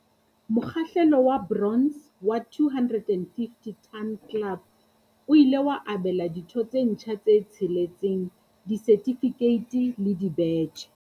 Mokgahlelo wa bronze wa 250 Ton Club o ile wa abela ditho tse ntjha tse tsheletseng disertifikeiti le dibetjhe.